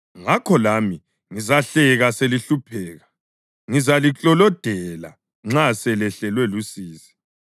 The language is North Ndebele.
ngakho lami ngizahleka selihlupheka; ngizaliklolodela nxa lisehlelwa lusizi,